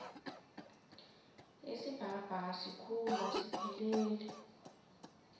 isibhakabhaka sikhulu asipheleli